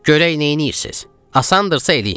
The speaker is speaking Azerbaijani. Görək neynirsiz, asandısa eləyin.